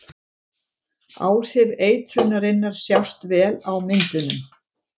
Áhrif eitrunarinnar sjást vel á myndunum.